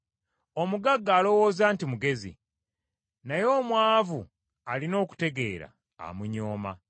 Omugagga alowooza nti mugezi, naye omwavu alina okutegeera, amunyooma.